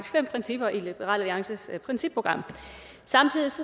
fem principper i liberal alliances principprogram samtidig